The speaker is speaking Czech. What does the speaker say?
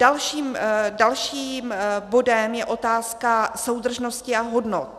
Dalším bodem je otázka soudržnosti a hodnot.